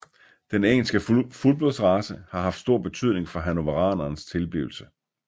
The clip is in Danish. Den engelske fuldblodsrace har haft stor betydning for hannoveranerens tilblivelse